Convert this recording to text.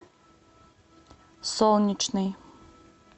солнечный